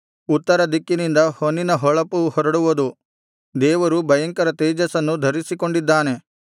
ಉತ್ತರದಿಕ್ಕಿನಿಂದ ಹೊನ್ನಿನ ಹೊಳಪು ಹೊರಡುವುದು ದೇವರು ಭಯಂಕರ ತೇಜಸ್ಸನ್ನು ಧರಿಸಿಕೊಂಡಿದ್ದಾನೆ